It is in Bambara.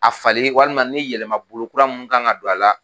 A falili walima ni yɛlɛmabolo kura min kan ka don a la